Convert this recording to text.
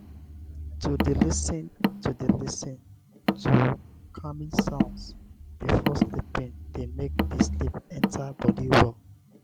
to de lis ten to de lis ten to calming sounds before sleeping de make di sleep enter body well